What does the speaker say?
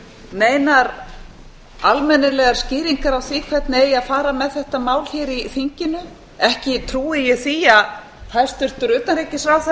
neinar almennilegar skýringar á því hvernig eigi að fara með þetta mál hér í þinginu ekki trúi ég því að hæstvirtur utanríkisráðherra